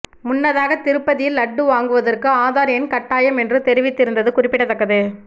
முன்னதாக திருப்பதியில் லட்டு வாங்குவதற்கு ஆதார் எண் கட்டாயம் என்று தெரிவித்திருந்தது குறிப்பிடத்தக்கது